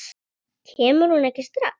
Kemur hún ekki strax?